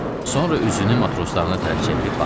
Sonra üzünü matroslarına tərəf çevirib baxırdı.